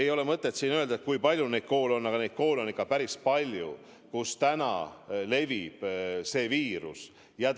Ei ole mõtet siin öelda, kui palju neid koole on, aga neid koole on ikka päris palju, kus see viirus levib.